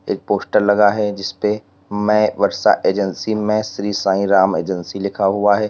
एक पोस्टर लगा है जिसपे मैं वर्षा एजेंसी में श्री साईं राम एजेंसी लिखा हुआ है।